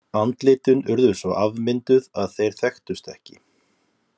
Andlitin urðu svo afmynduð að þeir þekktust ekki.